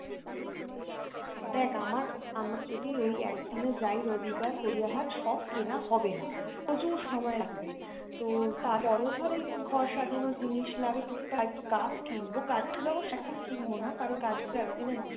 দেখ আমার, আমার যদি ওই একদিনে যাই রবিবার গড়িয়াহাট সব কেনা হবেনা প্রচুর সময় লাগবে তো তার পরেও ধর এই ঘর সাজানোর জিনিস লাগবে টুকটাক একটু গাছ কিনবো, গাছ গুলো অবশ্য এখন কিনবো না কারন গাছ গুলো এতদিনে নষ্ট